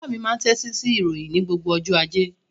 Bàbá mi máa ń tẹ́tí sí ìròyìn ní gbogbo ọjọ́ ajé.